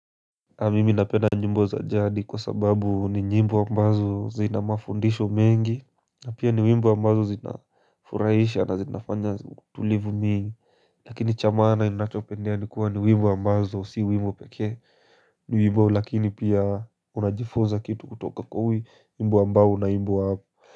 Ka mimi napenda nyimbo za jadi kwa sababu ni nyimbo ambazo zina mafundisho mengi. Na pia ni wimbo ambazo zina furaisha na zinafanya utulivu mingi. Lakini cha maana ninachopendea ni kuwa ni wimbo ambazo si wimbo pekee. Ni wimbo lakini pia unajifunza kitu kutoka kwa wimbo ambao unaimbwa.